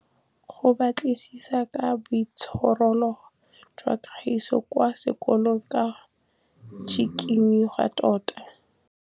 Go batlisisa ka boitshwaro jwa Kagiso kwa sekolong ke tshikinyêgô tota.